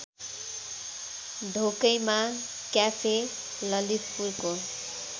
Dhokaima cafe ललितपुरको